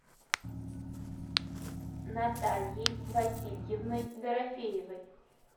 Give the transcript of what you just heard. натальей васильевной дорофеевой